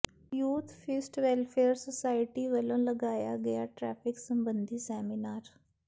youth fist welfare society ਵੱਲੋਂ ਲਗਾਇਆ ਗਿਆ ਟ੍ਰੈਫਿਕ ਸਬੰਧੀ ਸੈਮੀਨਾਰ